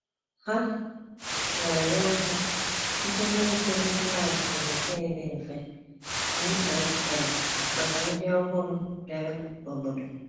Ha na-enye aka site n’ịkụzi klaasị Bekee dị mfe (ESL) maka ndị ọhụrụ bịara obodo.